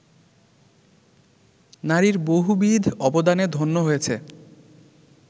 নারীর বহুবিধ অবদানে ধন্য হয়েছে